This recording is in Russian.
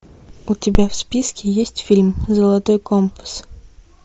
у тебя в списке есть фильм золотой компас